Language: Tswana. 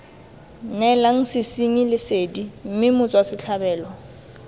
neelang sesenyi lesedi mme motswasetlhabelo